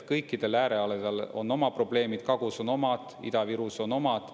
Kõikidel äärealadel on oma probleemid: Kagus on omad, Ida-Virus on omad.